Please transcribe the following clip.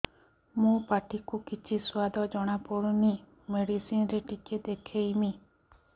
ମୋ ପାଟି କୁ କିଛି ସୁଆଦ ଜଣାପଡ଼ୁନି ମେଡିସିନ ରେ ଟିକେ ଦେଖେଇମି